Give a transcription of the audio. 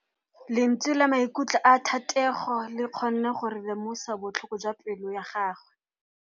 Lentswe la maikutlo a Thategô le kgonne gore re lemosa botlhoko jwa pelô ya gagwe.